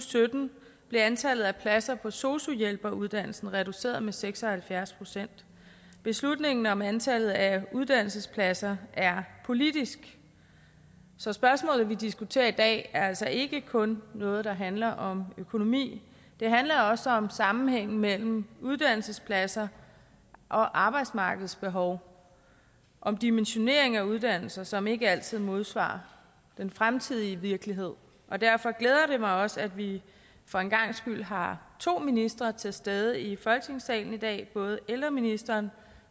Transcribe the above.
sytten blev antallet af pladser på sosu hjælperuddannelsen reduceret med seks og halvfjerds procent beslutningen om antallet af uddannelsespladser er politisk så spørgsmålet som vi diskuterer i dag er altså ikke kun noget der handler om økonomi det handler også om sammenhængen mellem uddannelsespladser og arbejdsmarkedets behov og en dimensionering af uddannelser som ikke altid modsvarer den fremtidige virkelighed og derfor glæder det mig også at vi for en gangs skyld har to ministre til stede i folketingssalen i dag altså både ældreministeren